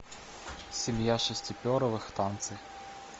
семья шестиперовых танцы